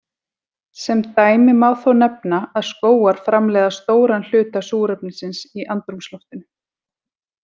Sem dæmi má þó nefna að skógar framleiða stóran hluta súrefnisins í andrúmsloftinu.